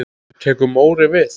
Tekur Móri við?